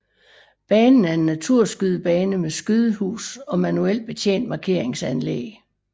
Banen er en naturskydebane med skydehus og manuelt betjent markeringsanlæg